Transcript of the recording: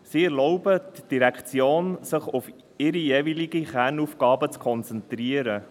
Sie erlauben den Direktionen, sich auf ihre jeweiligen Kernaufgaben zu konzentrieren.